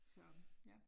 Så ja